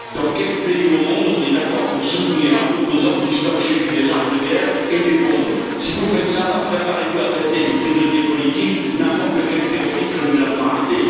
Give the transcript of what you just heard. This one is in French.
Dans quel pays du monde est on d'accord pour soutenir un opposant qui stocke chez lui des armes de guerre et des bombes? Si vous faites cela, alors préparez vous à traiter de prisonnier politique n'importe quel terroriste que nous avons arrêté.